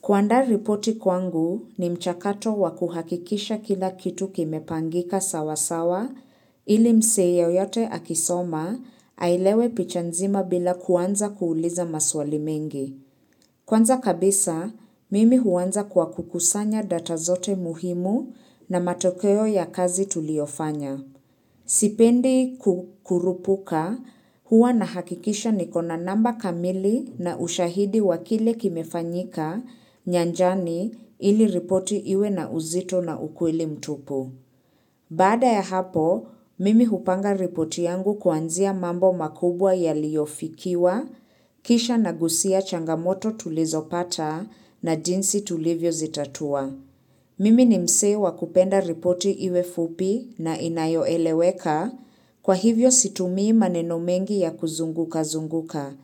Kuandaa ripoti kwangu ni mchakato wakuhakikisha kila kitu kimepangika sawa sawa ili mzee yeyote akisoma ailewe picha nzima bila kuanza kuuliza maswali mengi. Kwanza kabisa, mimi huwanza kwa kukusanya data zote muhimu na matokeo ya kazi tuliofanya. Sipendi kukurupuka huwa na hakikisha ni kona namba kamili na ushahidi wakile kimefanyika nyanjani ili ripoti iwe na uzito na ukweli mtupu. Bada ya hapo, mimi hupanga ripoti yangu kuanzia mambo makubwa yaliofikiwa, kisha na gusia changamoto tulizo pata na jinsi tulivyo zitatua. Mimi ni mzee wakupenda ripoti iwe fupi na inayo eleweka kwa hivyo situmii maneno mengi ya kuzunguka zunguka.